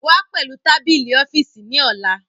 Wá pẹ̀lú tábìlì ọ́fíìsì ní ọ̀la